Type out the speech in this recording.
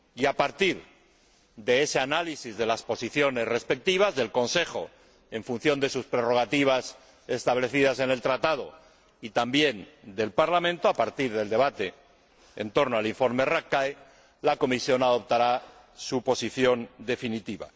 Y a partir de ese análisis de las posiciones respectivas del Consejo, en función de sus prerrogativas establecidas en el Tratado, y también del Parlamento, a partir del debate en torno al informe Rapkay, la Comisión adoptará su posición definitiva.